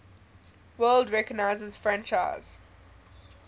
world recognizes franchise